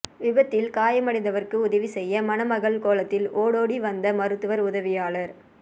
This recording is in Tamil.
விபத்தில் கயமடைந்தவருக்கு உதவிசெய்ய மணமகள் கோலத்தில் ஓடோடி வந்த மருத்துவ உதவியாளர்